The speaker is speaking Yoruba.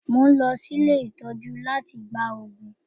Mo ń lọ sí ilé ìtọ́jú láti gba òògùn